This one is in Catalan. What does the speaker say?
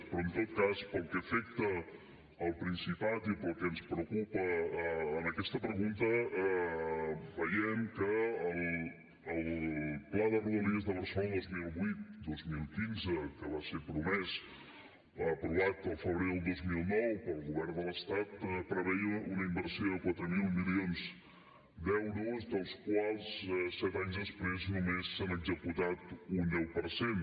però en tot cas pel que afecta el principat i el que ens preocupa en aquesta pregunta veiem que el pla de rodalies de barcelona dos mil vuit dos mil quinze que va ser promès aprovat al febrer del dos mil nou pel govern de l’estat preveia una inversió de quatre mil milions d’euros dels quals set anys després només se n’ha executat un deu per cent